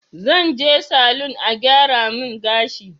Zan je salun a gyara min gashi